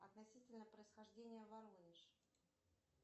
относительно происхождения воронеж